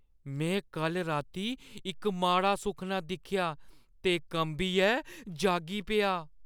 में कल्ल राती इक माड़ा सुखना दिक्खेआ ते कंबियै जागी पेआ।